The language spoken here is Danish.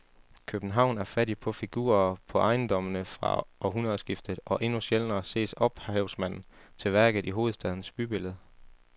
København er fattig på figurer på ejendommene fra århundredskiftet og endnu sjældnere ses ophavsmanden til værket i hovedstadens bybillede.